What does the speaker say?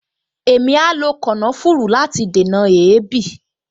Èmi a lo kànáfùrù láti dènà èébì